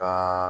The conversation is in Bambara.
Ka